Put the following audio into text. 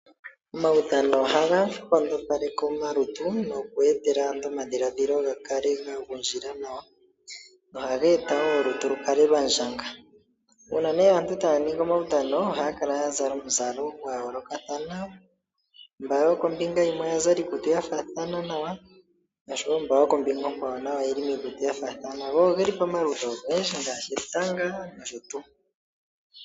Omawudhano ohaga nkondopaleke omalutu no ku etela aantu omadhiladhilo ga kale ga gundjila nawa. ohaga eta wo olutu lukale lwa ndjanga. Uuna nee aantu taya nigi omawudhano ohaya kala ya zala omuzala gwa yoolokadhana mba yokombinga yimwe oya zala iikutu ya faathana nawa nosho mba yokombinga onkwawo nayo oyeli miikutu yafaathana. Go ogeli pamaludhi ogendji ngaashi etanga nosho tuu.